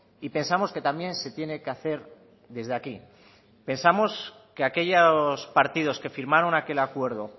y pensamos que también se tiene que hacer desde aquí pensamos que aquellos partidos que firmaron aquel acuerdo